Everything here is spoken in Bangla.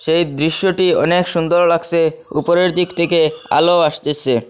সেই দৃশ্যটি অনেক সুন্দর লাগসে উপরের দিক থেকে আলো আসতেসে।